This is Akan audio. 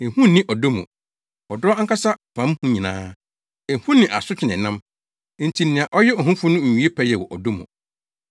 Ehu nni ɔdɔ mu. Ɔdɔ ankasa pam hu nyinaa. Ehu ne asotwe na ɛnam. Enti nea ɔyɛ ohufo no nwie pɛyɛ wɔ ɔdɔ mu.